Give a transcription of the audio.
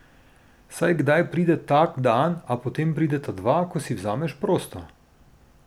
Saj kdaj pride tak dan, a potem prideta dva, ko si vzameš prosto.